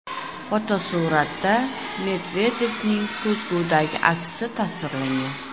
Fotosuratda Medvedevning ko‘zgudagi aksi tasvirlangan.